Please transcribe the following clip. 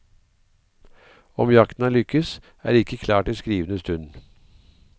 Om jakten har lykkes, er ikke klart i skrivende stund.